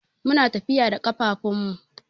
Muna tafiya da kafafun mu.